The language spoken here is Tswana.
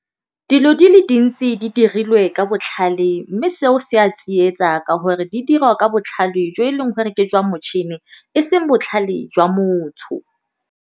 Dilo di le dintsi di dirilwe ka botlhale, mme seo se a tsietsa ka gore di dirwa ka botlhale jo e leng gore ke jwa motšhini e seng botlhale jwa motho.